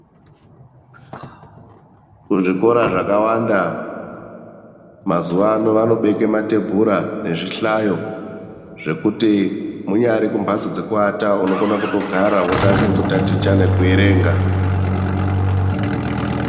Kuzvikora zvakawanda mazuwa ano vanobeke matebhura nezvihlayo zvekuti munyari kumhatso dzekuata unokona kutogara wotange kutaticha nekuerenga.